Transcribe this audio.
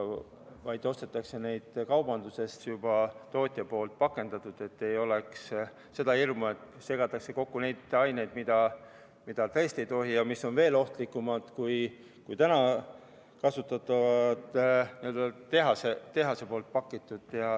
Et neid ikka ostetaks kaubandusest juba tootja poolt pakendatult ning poleks hirmu, et segatakse kokku neid aineid, mida tõesti ei tohi ja mis on veel ohtlikumad kui täna tehases pakitud.